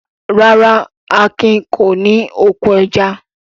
Rárá, Akin kò ní oko ẹja.